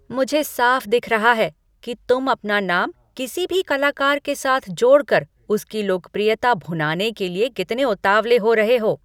मुझे साफ दिख रहा है कि तुम अपना नाम किसी भी कलाकार के साथ जोड़कर उसकी लोकप्रियता भुनाने के लिए कितने उतावले हो रहे हो।